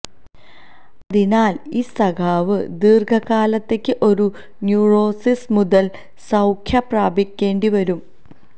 അതിനാൽ ഈ സഖാവ് ദീർഘകാലത്തേക്ക് ഒരു ന്യൂറോസിസ് മുതൽ സൌഖ്യം പ്രാപിക്കേണ്ടിവരും